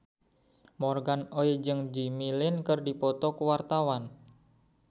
Morgan Oey jeung Jimmy Lin keur dipoto ku wartawan